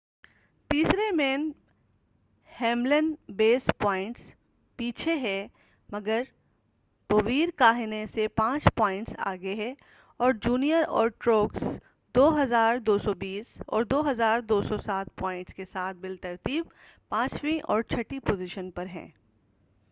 تیسرے میں، ہیملن بیس پوائنٹس پیچھے ہے، مگر بویر کاہنے سے پانچ پوائنٹس آگے ہے، اور جونیئر اور ٹروکس 2،220 اور 2،207 پوائنٹس کے ساتھ بالترتیب پانچویں اور چھٹی پوزیشن پر ہیں۔